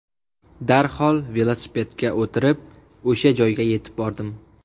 Darhol velosipedga o‘tirib o‘sha joyga yetib bordim.